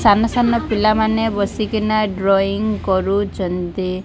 ସାନ-ସାନ ପିଲାମାନେ ବସିକିନା ଡ୍ରଇଂ କରୁଚନ୍ତି।